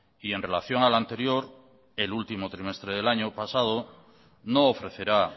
y en relación al anterior el último trimestre del año pasado no ofrecerá